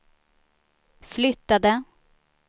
flyttade